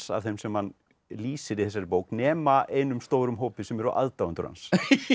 af þeim sem hann lýsir í þessari bók nema einum stórum hópi sem eru aðdáendur hans